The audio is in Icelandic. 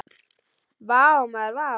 Vá maður vá!